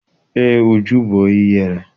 Eé, Uju bụ onye ihere